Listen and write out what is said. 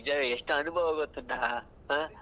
ನಿಜ ಎಷ್ಟ್ ಅನುಭವ ಗೊತ್ತುಂಟ ಹ.